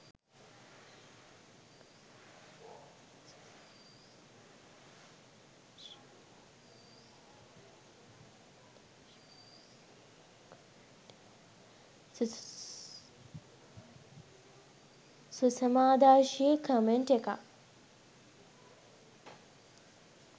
සුසමාදර්ශී comment එකක්